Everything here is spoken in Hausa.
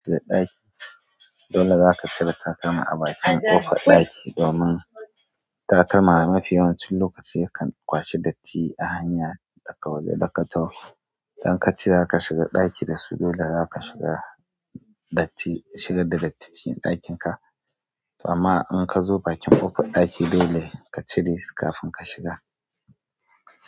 Dole zaka cire takalma a bakin ƙofar ɗaki, domin takalma mafi yawancin lokaci yakan kwashi datti a hanya da ka waje da ka taho. Idan ka ci raka shiga ɗaki da su, dole zaka shiga datti, shigar da datti cikin ɗakin ka. Amma in ka zo bakin ƙofar ɗaki, dole ka cire su kafin ka shiga.